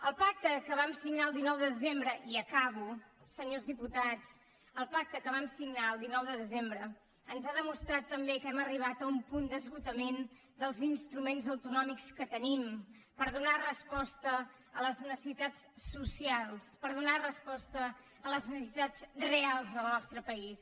el pacte que vam signar el dinou de desembre i acabo senyors diputats ens ha demostrat també que hem arribat a un punt d’esgotament dels instruments autonòmics que tenim per donar resposta a les necessitats socials per donar resposta a les necessitats reals del nostre país